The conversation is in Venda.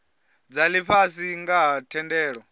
dza lifhasi nga ha thendelano